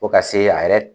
Fo ka se a yɛrɛ